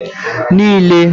niile